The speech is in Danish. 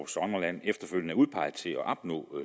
sommerland efterfølgende er udpeget til at opnå